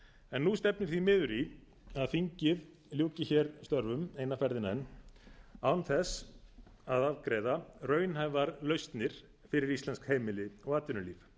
en nú stefnir því miður í því að þingið ljúki hér störfum eina ferðina enn án þess að afgreiða raunhæfar lausnir fyrir íslensk heimili og atvinnulíf